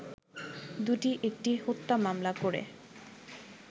দুটি একটি হত্যা মামলা করে